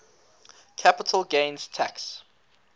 capital gains tax